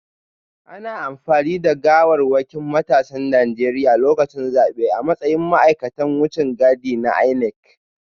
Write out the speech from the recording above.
Ana amfani da gawarwakin matasan Najeriya lokacin zabe a matsayin ma’aikatan wucin gadi na INEC